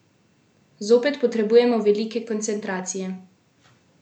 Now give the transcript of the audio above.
Zopet potrebujemo veliko koncentracije.